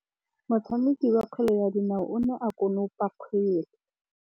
Motshameki wa kgwele ya dinaô o ne a konopa kgwele.